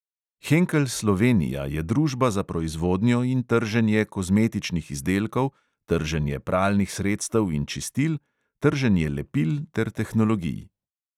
Henkel slovenija je družba za proizvodnjo in trženje kozmetičnih izdelkov, trženje pralnih sredstev in čistil, trženje lepil ter tehnologij.